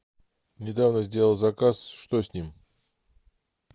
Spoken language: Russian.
недавно сделал заказ что с ним